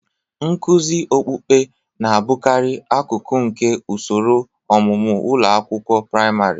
Nkuzi okpukpe na-abụkarị akụkụ nke usoro ọmụmụ ụlọ akwụkwọ praịmarị.